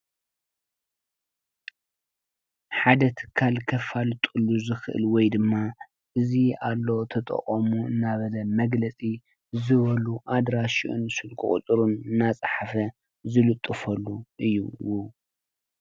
ሓደ ትካል ከፋልጡሉ ተጠቀምሉ ናብ ዝብሉ መግለፂኣድራሽኡን ስልኪ ቁፅሪን ዝልጥፈሉ እዩ።